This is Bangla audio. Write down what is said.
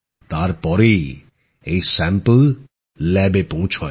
তার পরই এই নমুনা পরীক্ষাগারে পৌঁছায়